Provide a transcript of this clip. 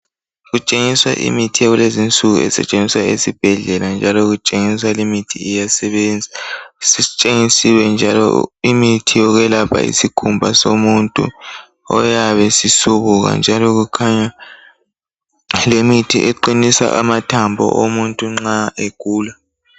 Kutshengiswa imithi yakulezi nsuku esetshenziswa esibhedlela njalo kutshengiswa limithi iyasebenza. Sitshengisiwe njalo imithi yokwelapha isikhumba somuntu oyabe sisubuka njalo kukhanya lemithi eqinisa amathambo omuntu nxa egula.